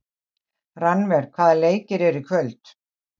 Rannver, hvaða leikir eru í kvöld?